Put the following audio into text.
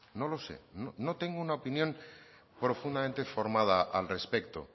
no lo sé no tengo una opinión profundamente formada al respecto